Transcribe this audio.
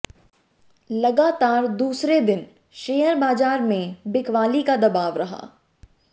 लगातार दूसरे दिन शेयर बाजार में बिकवाली का दबाव रहा